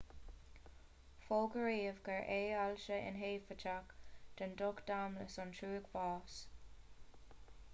fógraíodh gurbh é ailse inheipiteach den ducht domlais an trúig bháis